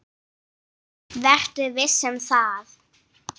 Vertu viss um það.